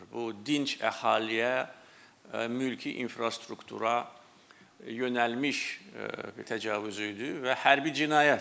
Bu dinc əhaliyə, mülki infrastruktura yönəlmiş təcavüz idi və hərbi cinayətdir.